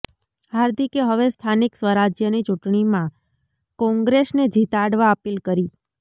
હાર્દિકે હવે સ્થાનિક સ્વરાજ્યની ચૂંટણીમાં કોંગ્રેસને જીતાડવા અપીલ કરી